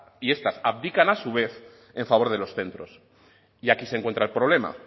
y estas abdican a su vez en favor de los centros y aquí se encuentra el problema